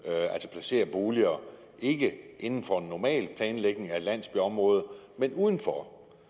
placere boliger ikke inden for en normal planlægning af et landsbyområde men uden for